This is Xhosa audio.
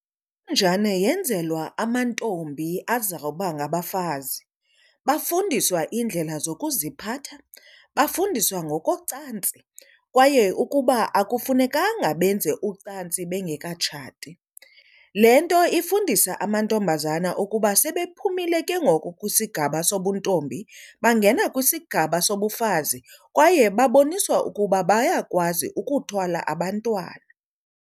Intonjane yenzelwa amantombi azawuba ngabafazi. Bafundiswa iindlela zokuziphatha bafundiswa ngokocantsi kwaye ukuba akufunekanga benze ucantsi bengekatshati. Le nto ifundisa amantombazana ukuba sebephumile ke ngoku kwisigaba sobuntombi bangena kwisigaba sobufazi kwaye baboniswa ukuba bayakwazi ukuthwala abantwana.